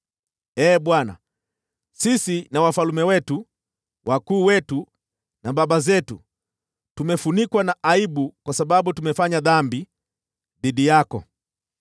Ee Bwana , sisi na wafalme wetu, wakuu wetu na baba zetu tumefunikwa na aibu kwa sababu tumefanya dhambi dhidi yako.